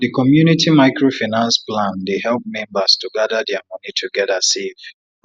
di community microfinance plan dey help members to gather dia money together save